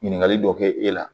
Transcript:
Ɲininkali dɔ kɛ e la